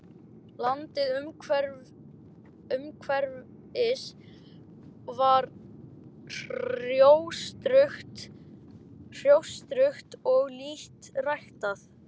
Landið umhverfis var hrjóstrugt og lítt ræktað.